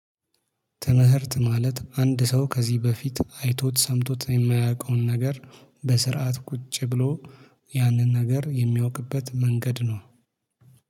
ትምህርት ማለት አንድ ሰው ከዚህ በፊት አይቶት ሰምቶት የማያውቀውን ነገር በስርዓት ቁጭ ብሎ ያንን ነገር የሚያውቅበት መንገድ ነው።